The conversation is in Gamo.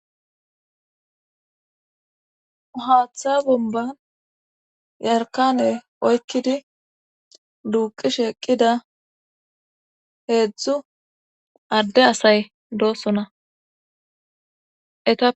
Haaththa bomban yarkane oykkidi duuqishe eqqida heedzdzu adde asay doossona.